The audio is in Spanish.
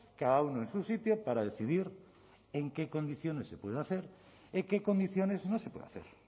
cada uno en su sitio para decidir en qué condiciones se puede hacer en qué condiciones no se puede hacer